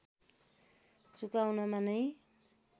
चुकाउनमा नै